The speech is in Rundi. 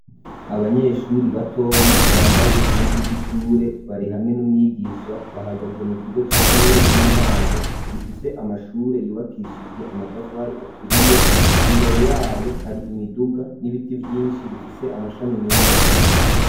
Abanyeshuri batoyi, bambaye impuzu z'ishure, bari hamwe n'umwigisha, bahagaze mu kigo c'ishure, ry'intango, gifise amashure, yubakishijwe amatafari aturiye; imbere yayo, hari imiduga, n'ibiti vyinshi, bifise amashami menshi.